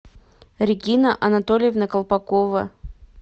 регина анатольевна колпакова